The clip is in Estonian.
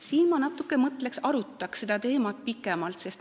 Siin ma natuke mõtleks ja arutaks seda teemat pikemalt.